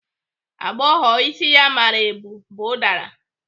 Agbọghọ isi ya mara eu bu ụdara.